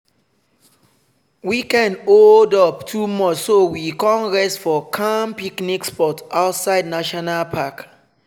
weekend holdup too much so we con rest for calm picnic spot outside national park.